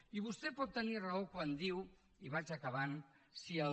i vostè pot tenir raó quan diu i vaig acabant si el